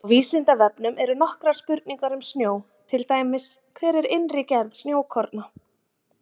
Á Vísindavefnum eru nokkrar spurningar um snjó, til dæmis: Hver er innri gerð snjókorna?